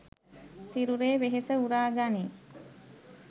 සිරුරේ වෙහෙස උරා ගනියි.